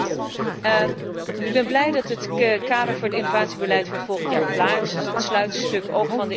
Ik ben blij dat het kader voor het innovatiebeleid voor volgend jaar klaar is. Het is het sluitstuk ook van de innovatie unie.